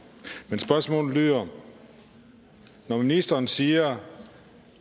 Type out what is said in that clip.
men spørgsmålet lyder når ministeren siger at